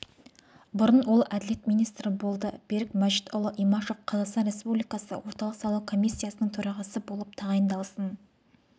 бұрын ол әділет министрі болды берік мәжитұлы имашев қазақстан республикасы орталық сайлау комиссиясының төрағасы болып тағайындалсын